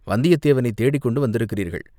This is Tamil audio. வந்தியத்தேவனைத் தேடிக்கொண்டு வந்திருக்கிறீர்கள்.